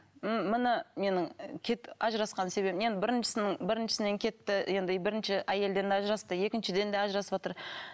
м міне менің ажырасқан себебім енді біріншісінің біріншісінен кетті енді ы бірінші әйелден ажырасты екіншіден де ажырасыватыр